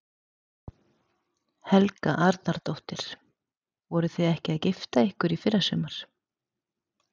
Helga Arnardóttir: Voruð þið ekki að gifta ykkur í fyrrasumar?